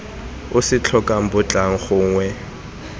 o se tlhokang batlang gongwe